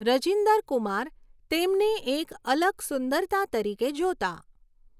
રજિન્દર કુમાર તેમને એક અલગ સુંદરતા તરીકે જોતા.